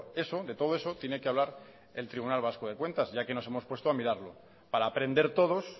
eso de todo eso tiene que hablar el tribunal vasco de cuentas ya que nos hemos puesto a mirarlo para aprender todos